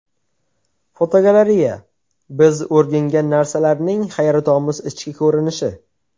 Fotogalereya: Biz o‘rgangan narsalarning hayratomuz ichki ko‘rinishi.